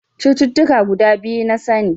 Cututtuka guda biyu na sani.